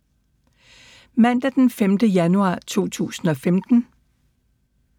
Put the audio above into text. Mandag d. 5. januar 2015